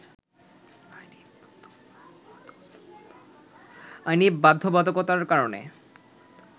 আইনি বাধ্যবাধকতার কারণে